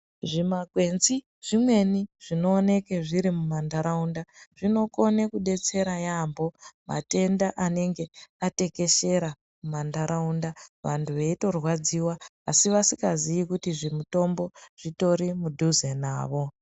Zvima kwenzi zvimweni zvinooneka zviri mumantharaunda zvinokone kudetsera yaambo matenda anenge atekeshera mumantharaunda vanthu veitorwadziwa asi vasingazii kuti zvimutombo zvitori mudhuze navo.